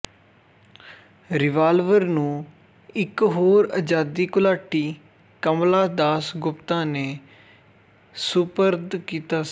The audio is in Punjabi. ਰਿਵਾਲਵਰ ਨੂੰ ਇੱਕ ਹੋਰ ਆਜ਼ਾਦੀ ਘੁਲਾਟੀ ਕਮਲਾ ਦਾਸ ਗੁਪਤਾ ਨੇ ਸਪੁਰਦ ਕੀਤਾ ਸੀ